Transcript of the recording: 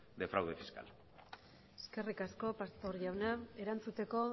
de fraude fiscal eskerrik asko pastor jauna erantzuteko